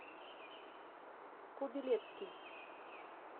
кобилецкий